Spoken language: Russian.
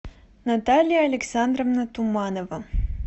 наталья александровна туманова